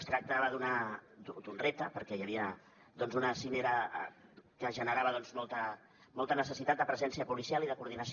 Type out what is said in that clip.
es tractava d’un repte perquè hi havia una cimera que generava molta necessitat de presència policial i de coordinació